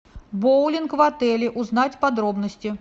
боулинг в отеле узнать подробности